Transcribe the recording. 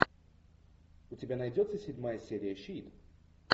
у тебя найдется седьмая серия щит